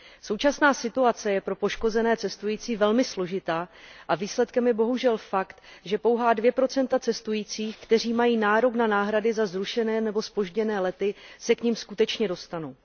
Současná situace je pro poškozené cestující velmi složitá a výsledkem je bohužel fakt, že pouhá 2 cestujících, kteří mají nárok na náhrady za zrušené nebo zpožděné lety, se k nim skutečně dostanou.